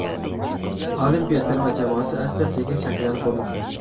Olimpiya terma jamoasi asta sekin shakllanib bormoqda.